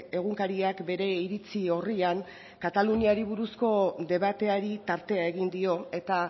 egunkariak bere iritzi orrian kataluniari buruzko debateari tartea egin dio eta